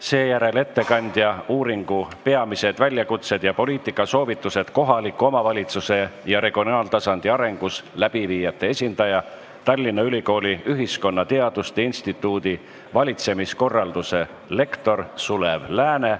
Seejärel tuleb kõnepulti uuringu "Peamised väljakutsed ja poliitikasoovitused kohaliku omavalitsuse ja regionaaltasandi arengus" läbiviijate esindaja, Tallinna Ülikooli ühiskonnateaduste instituudi valitsemiskorralduse lektor Sulev Lääne.